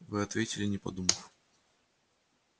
вы ответили не подумав